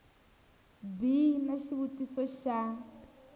b xi na xivutiso xa